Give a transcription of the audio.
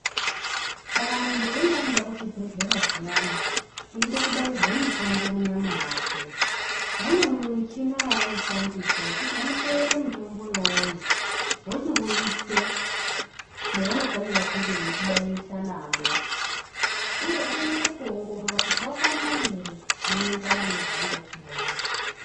Kana muntu eyinge ayenda kuzvibhehlera zviyani eida kubairwei mitombo munyama yakwe vane michina yavanoshandisa yekuti vanokweyere mitombo uwowo vochikuise mwevanofana kunge veikubairisa namwo. Uye vanonasa kuwongorora kuti wakwana ere zvinoenderana nezvevanoda kukubaira.